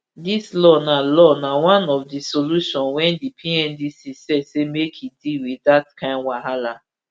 dis law na law na one of di solution wia di pndc set say make e deal wit dat kain wahala